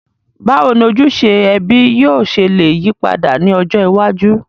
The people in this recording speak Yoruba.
Bàwoni ojúse ẹbí yio se le yípadà ni ọjọ́ iwájú?